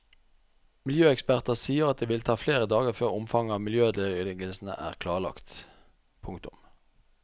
Miljøeksperter sier at det vil ta flere dager før omfanget av miljøødeleggelsene er klarlagt. punktum